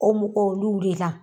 O mɔgɔw olu de la.